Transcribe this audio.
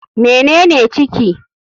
Mene ne ciki?